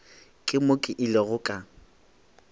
ke mo ke ilego ka